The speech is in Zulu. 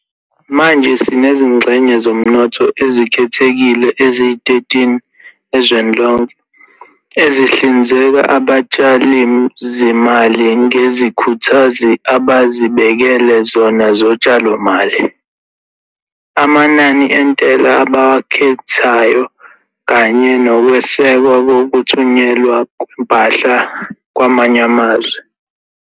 Manje sinezingxenye zomnotho ezikhethekile eziyi-13 ezweni lonke, ezihlinzeka abatshalizimali ngezikhuthazi abazibekele zona zotshalomali, amanani entela abawakhethayo kanye nokwesekwa kokuthunyelwa kwempahla kwamanye amazwe.